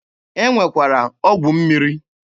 E nwekwara ọgwụ mmiri.